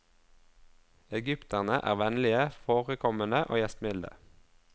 Egypterne er vennlige, forekommende og gjestmilde.